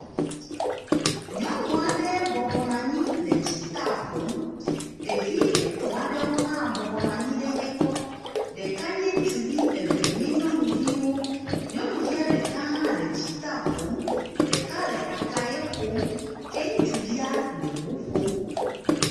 Nyɔnu aɖe bɔbɔ nɔ anyi le dzitaa ƒom. Ɖevi etɔ̃ aɖewo hã bɔbɔ nɔ anyi ɖe egbɔ. Ɖeka nye ŋutsuvi eve nye nyɔnuviwo. Nyɔnuvi ɖeka hã le dzitaa ƒom. Ɖeka le akaye ƒom ke ŋutsuvia le ŋu ƒom.